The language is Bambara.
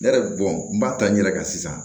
Ne yɛrɛ n b'a ta n yɛrɛ kan sisan